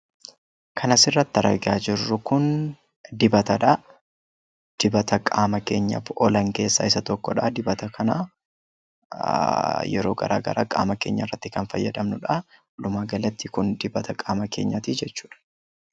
Kan asirratti argaa jirru Kun dibatadha. Dibata qaama keenyaaf oolan keessaa tokkodha. Dibata kana yeroo garaagaraa qaama keenya irratti kan fayyadamnudha. Walumaa galatti Kun dibata qaama keenyaati jechuudha.